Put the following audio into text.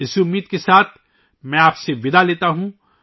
اسی امید کے ساتھ ، میں آپ سب سے وداع لیتا ہوں